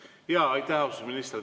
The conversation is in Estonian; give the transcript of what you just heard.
Aitäh, austatud minister!